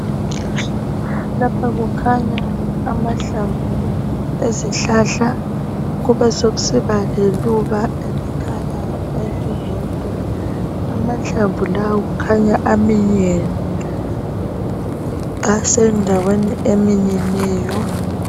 Lapha kukhanya amahlamvu ezihlahla kube sokusiba leluba elikhanyayo elilodwa amahlamvu lawa akhanya aminyene asendaweni eminyeneyo.